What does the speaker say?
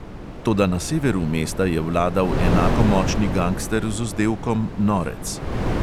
Toda, na severu mesta je vladal enako močni gangster z vzdevkom norec ...